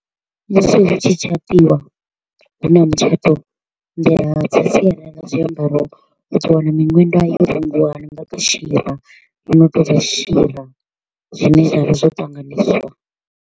Musi hu tshi tshatiwa, huna mutshato nḓila dza sialala zwiambaro u ḓo wana miṅwenda yo nga shira yo no to u nga shira, zwine zwa vha zwo ṱanganyiswa.